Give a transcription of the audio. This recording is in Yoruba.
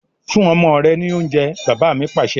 Fún ọmọ rẹ ni oúnjẹ! Bàbá mi Pàṣẹ.